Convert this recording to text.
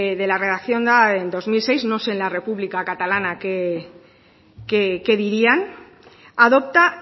de la redacción dada en dos mil seis no sé en la república catalana qué dirían adopta